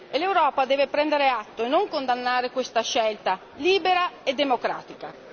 L'Europa deve prenderne atto e non condannare questa scelta che è libera e democratica.